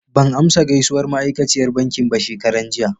Ban amsa gaisuwar ma'aikaciyar bankin ba shekaran jiya.